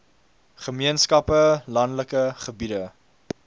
gemeenskappe landelike gebiede